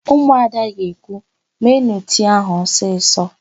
Ụmụada ga-ekwu, "meenụ tii áhụ̀ ọsịsọ"!